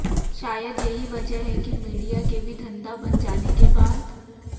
शायद यही वजह है कि मीडिया के भी धंधा बन जाने के बाद